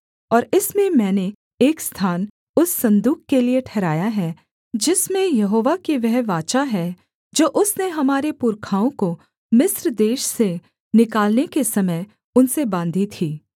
और इसमें मैंने एक स्थान उस सन्दूक के लिये ठहराया है जिसमें यहोवा की वह वाचा है जो उसने हमारे पुरखाओं को मिस्र देश से निकालने के समय उनसे बाँधी थी